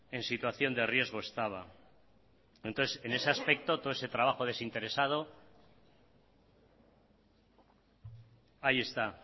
en situación de riesgo estaba entonces en ese aspecto todo ese trabajo desinteresado ahí está